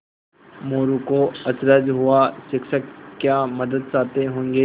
मोरू को अचरज हुआ शिक्षक क्या मदद चाहते होंगे